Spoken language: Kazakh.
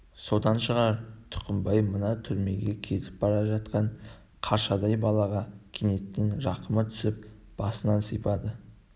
содан шығар тұқымбай мына түрмеге кетіп бара жатқан қаршадай балаға кенет рақымы түсіп басынан сипады